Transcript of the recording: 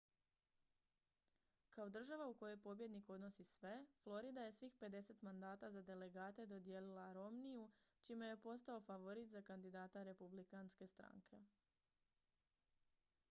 kao država u kojoj pobjednik odnosi sve florida je svih pedeset mandata za delegate dodijelila romneyu čime je postao favorit za kandidata republikanske stranke